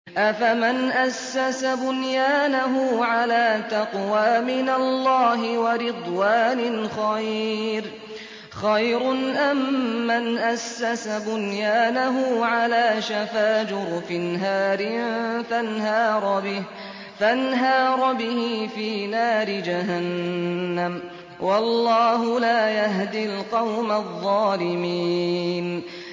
أَفَمَنْ أَسَّسَ بُنْيَانَهُ عَلَىٰ تَقْوَىٰ مِنَ اللَّهِ وَرِضْوَانٍ خَيْرٌ أَم مَّنْ أَسَّسَ بُنْيَانَهُ عَلَىٰ شَفَا جُرُفٍ هَارٍ فَانْهَارَ بِهِ فِي نَارِ جَهَنَّمَ ۗ وَاللَّهُ لَا يَهْدِي الْقَوْمَ الظَّالِمِينَ